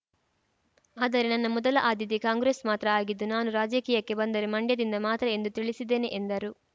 ಆದರೆ ನನ್ನ ಮೊದಲ ಆದ್ಯತೆ ಕಾಂಗ್ರೆಸ್‌ ಮಾತ್ರ ಆಗಿದ್ದು ನಾನು ರಾಜಕೀಯಕ್ಕೆ ಬಂದರೆ ಮಂಡ್ಯದಿಂದ ಮಾತ್ರ ಎಂದು ತಿಳಿಸಿದ್ದೇನೆ ಎಂದರು